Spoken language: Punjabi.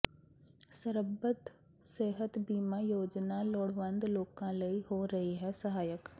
ਸਰਬੱਤ ਸਿਹਤ ਬੀਮਾ ਯੋਜਨਾ ਲੋੜਵੰਦ ਲੋਕਾਂ ਲਈ ਹੋ ਰਹੀ ਹੈ ਸਹਾਇਕ